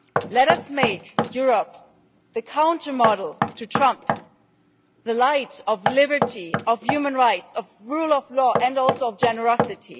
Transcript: Let us make Europe the counter-model to Trump, the light of liberty of human rights and the rule of law, and also of generosity.